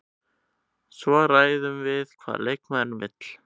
Svo ræðum við hvað leikmaðurinn vill.